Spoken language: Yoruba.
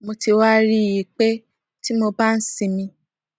mo ti wá rí i pé tí mo bá ń sinmi